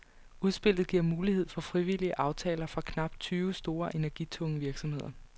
Udspillet giver mulighed for frivillige aftaler for knap tyve store, energitunge virksomheder.